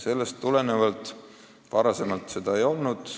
Varem seda kartust ei olnud.